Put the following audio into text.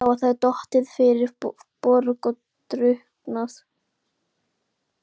Líklega hafa þær dottið fyrir borð og drukknað.